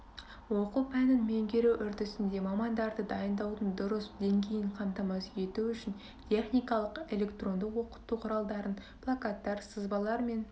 оқу пәнін меңгеру үрдісінде мамандарды дайындаудың дұрыс деңгейін қамтамасыз ету үшін техникалық электрондық оқыту құралдарын плакаттар сызбалар мен